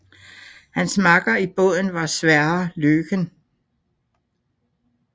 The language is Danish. Hans makker i båden var Sverre Løken